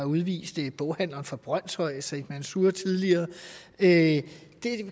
udviste boghandleren fra brønshøj said mansour tidligere det